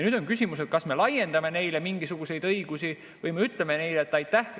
Nüüd on küsimus, kas me laiendame neile mingisuguseid õigusi või me ütleme neile: "Aitäh!